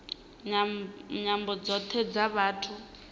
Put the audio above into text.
nyambo dzothe dza vhathu vha